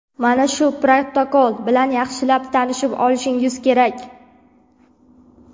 Mana shu protokol bilan yaxshilab tanishib olishingiz kerak.